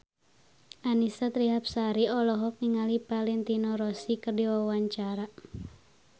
Annisa Trihapsari olohok ningali Valentino Rossi keur diwawancara